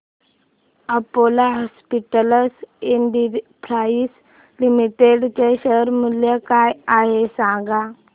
Apollo hospitals enterprise limited चे share मूल्य काय आहे सांगा